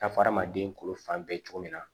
Taa fɔ adamaden kolo fan bɛɛ cogo min na